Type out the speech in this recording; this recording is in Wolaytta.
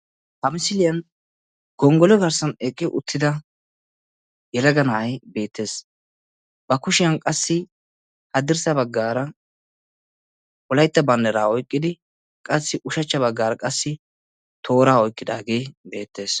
Ha misiliyan gonggolo garssan eqqi uttida yelaga na'ay beettees. Ba kushiyan qassi haddirssa baggaara wolaytta banddira oyqqidi qassi ushachcha baggaara qassi tooraa oyqqidaagee beettees.